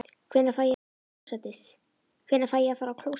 Hvenær fæ ég að fara á klósettið?